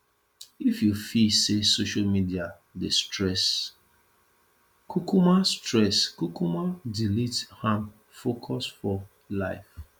if you feel sey social media dey stress kukuma stress kukuma delete am focus for life